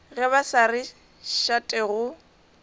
ge ba sa rate go